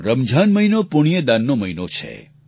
રમજાન મહિનો પુણ્યદાનનો મહિનો છે